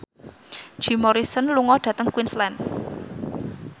Jim Morrison lunga dhateng Queensland